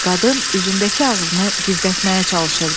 Qadın üzündəki ağrını gizlətməyə çalışırdı.